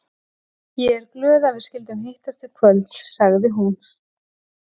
Ég er glöð að við skyldum hittast í kvöld, sagði hún.